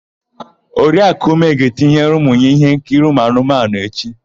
Oriakụ Ume ga-etinyere ụmụ ya íhénkiri ụmụanụmanụ echi.